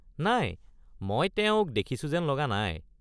নাই, মই তেওঁক দেখিছোঁ যেন লগা নাই।